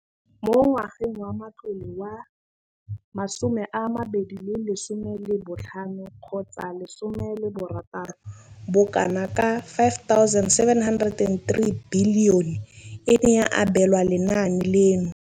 Mo ngwageng wa matlole wa 2015 16, bokanaka 5 703 bilione e ne ya abelwa lenaane leno.